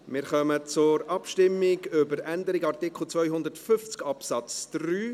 Wir kommen zur Abstimmung über die Änderung von Artikel 250 Absatz 3.